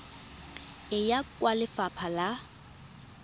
e ya kwa lefapha la